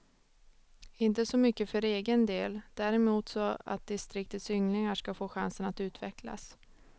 Inte så mycket för egen del, däremot så att distriktets ynglingar ska få chansen att utvecklas.